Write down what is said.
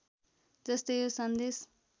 जस्तै यो सन्देश